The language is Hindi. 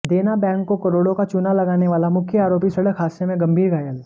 देना बैंक को करोड़ों का चूना लगाने वाला मुख्य आरोपी सड़क हादसे में गंभीर घायल